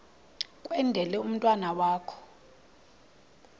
kwendele umntwana wakho